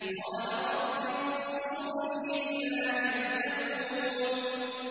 قَالَ رَبِّ انصُرْنِي بِمَا كَذَّبُونِ